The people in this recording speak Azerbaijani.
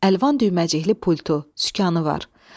Əlvan düyməcikli pultu, sükanı var.